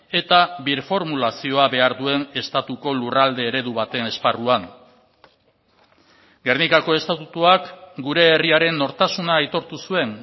eta birformulazioa behar duen estatuko lurralde eredu baten esparruan gernikako estatutuak gure herriaren nortasuna aitortu zuen